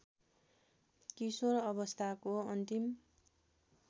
किशोर अवस्थाको अन्तिम